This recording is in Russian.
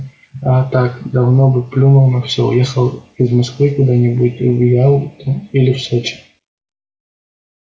а так давно бы плюнул на все уехал из москвы куда-нибудь в ялту или в сочи